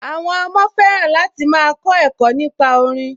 Àwọn ọmọ fẹ́ràn láti máa kọ ẹ̀kọ́ nípa orin